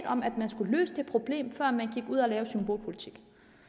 om at man skulle løse det problem før man gik ud og lavede symbolpolitik